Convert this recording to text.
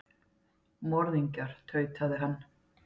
Morðingjar, tautaði hann.